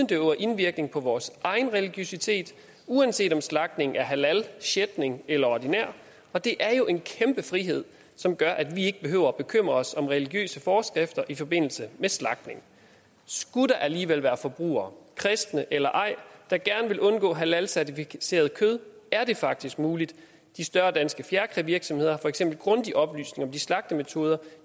det øver indvirkning på vores egen religiøsitet uanset om slagtningen er halal schæchtning eller ordinær og det er jo en kæmpe frihed som gør at vi ikke behøver at bekymre os om religiøse forskrifter i forbindelse med slagtning skulle der alligevel være forbrugere kristne eller ej der gerne vil undgå halalcertificeret kød er det faktisk muligt de større danske fjerkrævirksomheder har for eksempel grundige oplysninger om de slagtemetoder